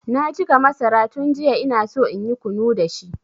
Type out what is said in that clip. Na jiƙa masara tun jiya inaso inyi kunu dashi.